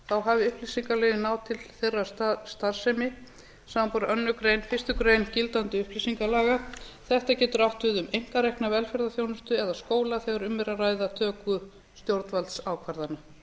hafi upplýsingalögin náð til þeirrar starfsemi samanber aðra grein fyrstu grein gildandi upplýsingalaga þetta getur átt við um einkarekna velferðarþjónustu eða skóla þegar um er að ræða töku stjórnvaldsákvarðana